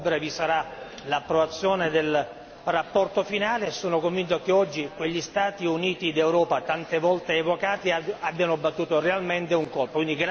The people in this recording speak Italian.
A ottobre vi sarà l'approvazione della relazione finale e sono convinto che oggi quelli Stati Uniti d'Europa, tante volte evocati, abbiano battuto realmente un colpo.